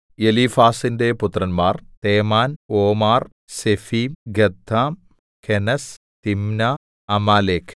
എലീഫാസിന്റെ പുത്രന്മാർ Teman Omar Zepho Gatam Kenaz Timna Amalek